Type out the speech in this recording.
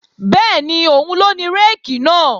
Bẹ́ẹ̀ni, òun ló ní réèkì náà